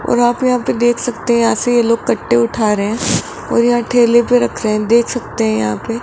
और आप यहां पे देख सकते हैं यहां से ये लोग कट्टे उठा रहे हैं और यहां ठेले पर रख रहे देख सकते हैं यहां पे।